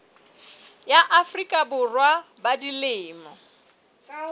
ya afrika borwa ba dilemo